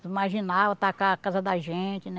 Os marginal atacar a casa da gente, né?